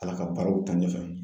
Ala ka baaraw ta ɲɛfɛ.